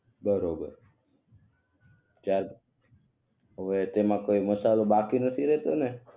બરોબર ચાલ હવે તેમા કોઈ મસાલો બાકી નથી રહેતો ને